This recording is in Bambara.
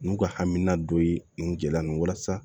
N'u ka hakilina dɔ ye nin gɛlɛya nin walasa